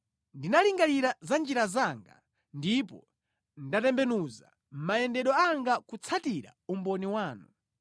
Ndinalingalira za njira zanga ndipo ndatembenuza mayendedwe anga kutsatira umboni wanu.